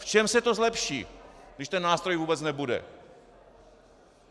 V čem se to zlepší, když ten nástroj vůbec nebude?